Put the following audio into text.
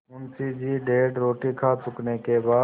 मुंशी जी डेढ़ रोटी खा चुकने के बाद